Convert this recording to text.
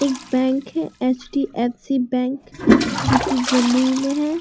एक बैंक है HDFC. Bank जो की जमुई में है।